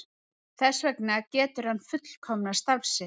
Þess vegna getur hann fullkomnað starf sitt.